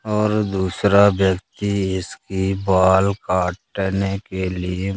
और दूसरा व्यक्ति इसकी बाल काटने के लिए--